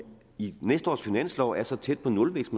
i næste års finanslov er så tæt på nulvækst